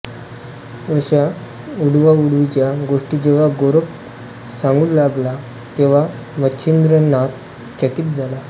अशा उडवाउडवीच्या गोष्टी जेव्हा गोरख सांगू लागला तेव्हा मच्छिंद्रनाथ चकित झाला